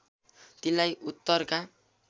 तिनलाई उत्तरका